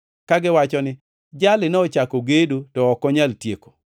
kagiwacho ni, ‘Jali nochako gedo to ok onyal tieko.’